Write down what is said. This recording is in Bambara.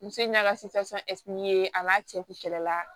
Muso ɲɛna a n'a cɛ kun kɛlɛ la